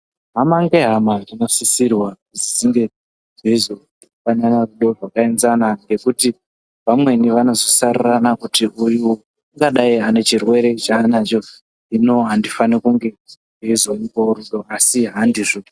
Hama ngehama dzinosisirwa kuti dzinge dzeizopanana rudo rwakaenzana ngekuti vamweni vanozosarurana kuti uyu ungadai ane chirwere chaanacho, hino handifani kunge ndeizomupawo rudo asi handizvo.